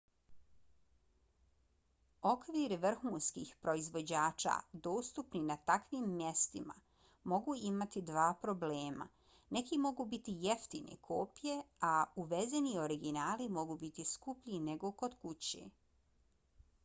okviri vrhunskih proizvođača dostupni na takvim mestima mogu imati dva problema: neki mogu biti jeftine kopije a uvezeni originali mogu biti skuplji nego kod kuće